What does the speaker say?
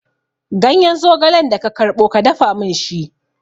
Ganyen zogalen da ka karɓo, ka dafa min shi!